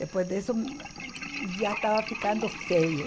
Depois disso, hum, já estava ficando feio.